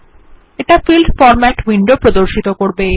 এটা field format window প্রর্দশিত করবে